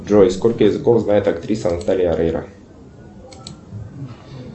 джой сколько языков знает актриса наталья орейро